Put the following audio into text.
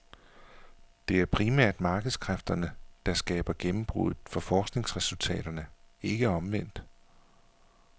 Det er primært markedskræfterne, der skaber gennembruddet for forskningsresultaterne, ikke omvendt.